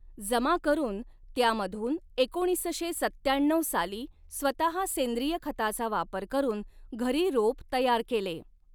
जमा करून त्यामधून एकोणीसशे सत्त्याण्णव साली स्वतः सेंद्रिय खताचा वापर करून घरी रोप तयार केले.